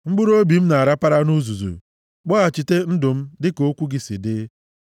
Mkpụrụobi m na-arapara nʼuzuzu; kpọghachite ndụ m dịka okwu gị si dị.